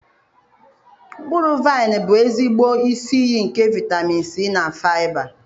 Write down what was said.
Mkpụrụ vaịn bụ ezigbo isi iyi nke vitamin C na faịba.